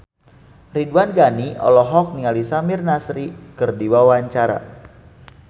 Ridwan Ghani olohok ningali Samir Nasri keur diwawancara